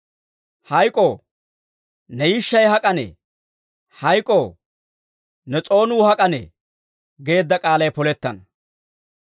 Hayk'oo, ne yishshay hak'anee? Hayk'oo, ne s'oonuu hak'anee?» geedda k'aalay polettana.